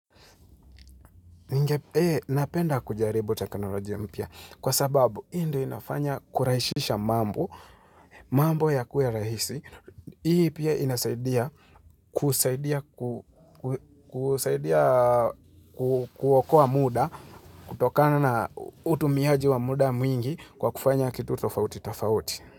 Ningepe, napenda kujaribu teknolojia mpya kwa sababu hii ndio inafanya kuraishisha mambo, mambo yakue rahisi. Hii pia inasaidia kusaidia kuokoa muda, kutokana na utumiaji wa muda mwingi kwa kufanya kitu tofauti tofauti.